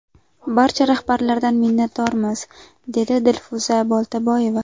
Barcha rahbarlardan minnatdormiz”, dedi Dilfuza Boltaboyeva.